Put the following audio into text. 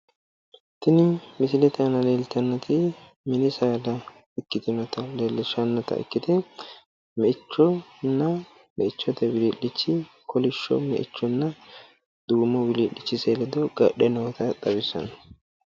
Tini misilete aana leellitanoti mini saadati su'mansano me"eho yinanni, mite duume meichoti mite kolisho meichoti lamenti garre no